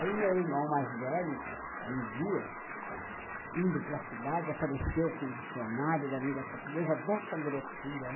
Aí o meu irmão mais velho, um dia, indo para cidade, apareceu com um dicionário da língua portuguesa dessa grossura.